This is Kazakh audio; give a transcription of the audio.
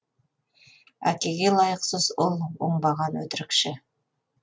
әкеге лайықсыз ұл оңбаған өтірікші